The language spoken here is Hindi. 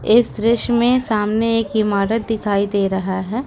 इस दृश्य में सामने एक इमारत दिखाई दे रहा है।